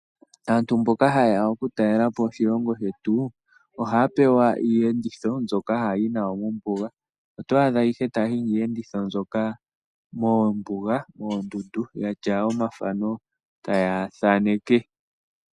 Aantu mboka hayeya oku talelapo oshilongo shetu ohapewa iyenditho mbyoka hayi nayo mombunga, otwadha taya hingi iyenditho mbyoka mombunga mondundu yatya omathano taya thaneke.